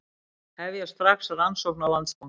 Hefja strax rannsókn á Landsbankanum